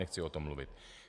Nechci o tom mluvit.